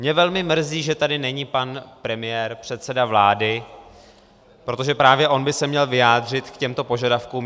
Mě velmi mrzí, že tady není pan premiér, předseda vlády, protože právě on by se měl vyjádřit k těmto požadavkům.